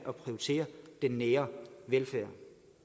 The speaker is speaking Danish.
at prioritere den nære velfærd